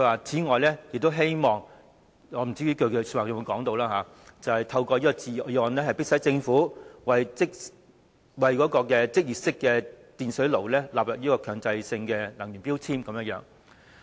此外，我不知道他發言時有否說，他亦希望透過中止待續議案，迫使政府把儲水式電熱水器納入強制性能源效益標籤計劃。